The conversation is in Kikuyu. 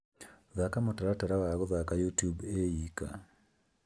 Thaka mũtaratara wa guthaka youtube ĩyika